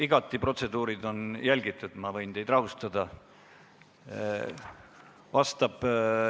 Igati on protseduure järgitud, ma võin teid rahustada.